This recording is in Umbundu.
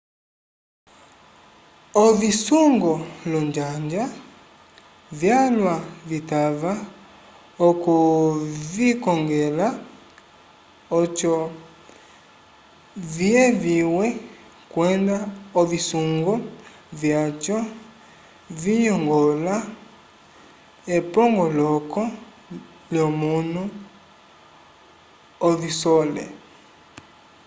ovisungo olonjanja vyalwa vitava okuvikongela oco viyeviwe kwenda ovisungo vyaco viyongola epongoloko lyomunu ovisole